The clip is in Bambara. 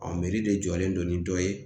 de jɔlen don ni dɔ ye.